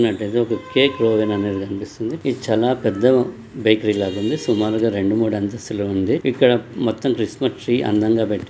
పెట్టినట్టయితే ఒక కేక్ అనేది మనకు కనిపిస్తుందిఇది చాలా పెద్ద బేకరీ లాగుందిసుమారుగా రెండు మూడు అంతస్తులుగా ఉందిఇక్కడ మొత్తం అందంగా పెడతారు.